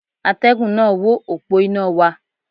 Atẹ́gùn náà wó òpó iná wa.